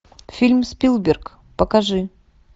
фильм спилберг покажи